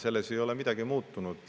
Selles ei ole midagi muutunud.